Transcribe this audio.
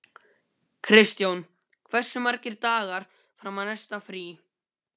Kristjón, hversu margir dagar fram að næsta fríi?